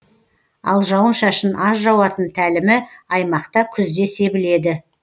ал жауын шашын аз жауатын тәлімі аймақта күзде себіледі